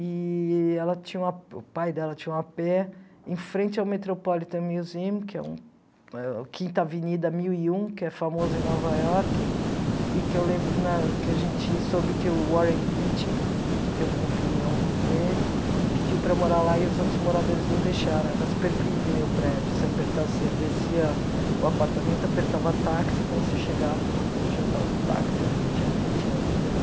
eee ela tinha uma o pai dela tinha um apê em frente ao Metropolitan Museum, que é um eh quinta Avenida mil e um, que é famosa em Nova Iorque, e que eu lembro que na que a gente soube que o Warren Beach, que eu vi um filme ontem com ele, pediu para morar lá e os outros moradores não deixaram, era super privê o prédio, você apertava você descia o apartamento, apertava táxi, quando você chegava o porteiro já estava com o táxi ali, eu tinha vinte anos, foi...